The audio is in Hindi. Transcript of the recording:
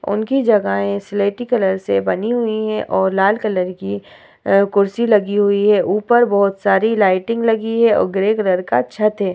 उनकी जगहे स्लेटी कलर से बनी हुई है और लाल कलर की अ कुर्सी लगी हुई है ऊपर बहुत सारी लाइटिंग लगी है और ग्रे कलर का छत है ।